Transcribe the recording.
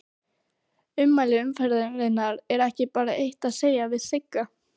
Ummæli umferðarinnar: Er ekki bara eitt að segja við Sigga?